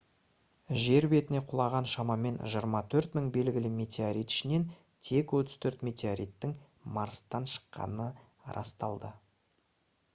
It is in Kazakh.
жер бетіне құлаған шамамен 24 000 белгілі метеорит ішінен тек 34 метеориттің марстан шыққаны расталды